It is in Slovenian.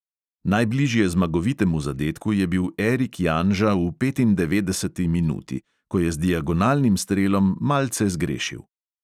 Najbližje zmagovitemu zadetku je bil erik janža v petindevetdeseti minuti, ko je z diagonalnim strelom malce zgrešil.